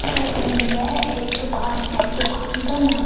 photo में यह एक दुकान है दुकान का नाम--